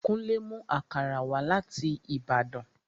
Kúnlé mú àkàrà wá láti Ìbàdàn